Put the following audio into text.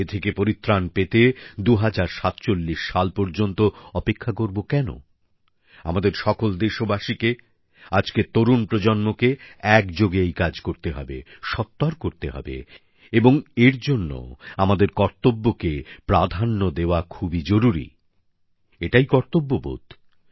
এ থেকে পরিত্রাণ পেতে ২০৪৭ সাল পর্যন্ত অপেক্ষা করব কেন আমাদের সকল দেশবাসীকে আজকের তরুণ প্রজন্মকে একযোগে এই কাজ করতে হবে দ্রুত করতে হবে এবং এর জন্য আমাদের কর্তব্যকে প্রাধান্য দেওয়া খুবই জরুরি এটাই কর্তব্যবোধ